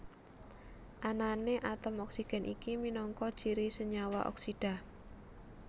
Anané atom oksigen iki minangka ciri senyawa oksida